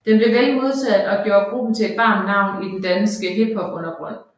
Den blev vel modtaget og gjorde gruppen til et varmt navn i den danske hiphopundergrund